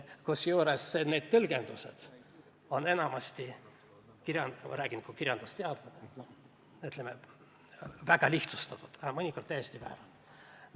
Kusjuures need tõlgendused on enamasti – ma räägin kui kirjandusteadlane – väga lihtsustatud, mõnikord aga täiesti väärad.